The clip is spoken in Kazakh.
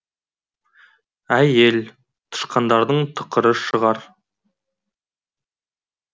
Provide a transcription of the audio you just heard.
ә й е л тышқандардың тықыры шығар